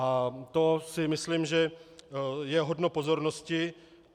A to si myslím, že je hodno pozornosti.